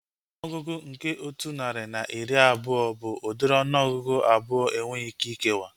Ọnụọgụgụ nke otu narị na iri abụọ bụ udiri ọnụọgụgụ abụọ enweghị ike ikewa